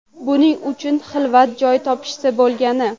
Buning uchun xilvat joy topishsa bo‘lgani.